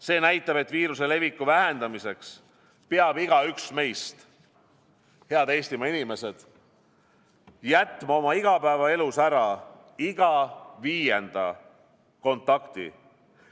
See näitab, et viiruse leviku vähendamiseks peab igaüks meist, head Eestimaa inimesed, jätma oma igapäevaelus ära iga viienda kontakti.